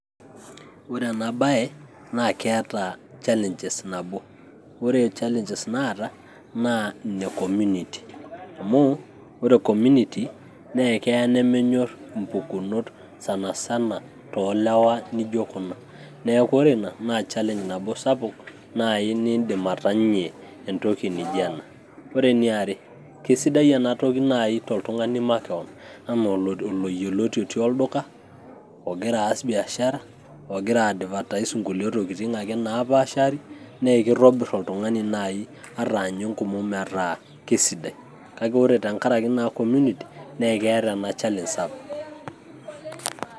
Ore enabae naa ketaa challenges nabo. Ore challenges naata, naa ine community. Amu ore community ,na kee nemenyor impukunot sanasana tolewa nijo kuna. Neeku ore ina, na challenge nabo sapuk nai niidim atanyie entoki naijo ena. Ore eniare, kesidai enatoki nai toltung'ani makeon, enaa oloyioloti otii olduka, ogira aas biashara, ogira ai advertise inkulie tokiting' ake napaashari. Nee kitobir oltung'ani nai ataanye enkomom metaa kesidai. Kake ore tenkaraki naa community ,nekeeta ena challenge sapuk.